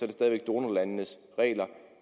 det stadig væk donorlandenes regler